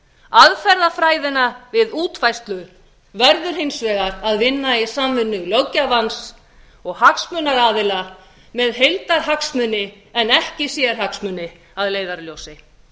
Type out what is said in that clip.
aðferðafræðina við útfærslu verður hins vegar að vinna í samvinnu löggjafans og hagsmunaaðila með heildarhagsmuni en ekki sérhagsmuni að leiðarljósi